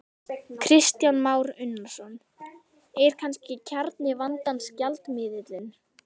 Kristján Már Unnarsson: Er kannski kjarni vandans gjaldmiðillinn?